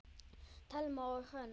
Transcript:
Thelma og Hrönn.